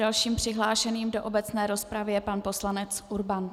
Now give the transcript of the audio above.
Dalším přihlášeným do obecné rozpravy je pan poslanec Urban.